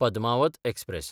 Padmaavat express